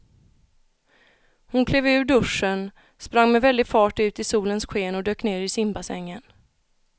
Hon klev ur duschen, sprang med väldig fart ut i solens sken och dök ner i simbassängen.